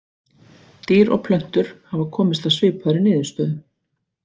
Dýr og plöntur hafa komist að svipaðri niðurstöðu.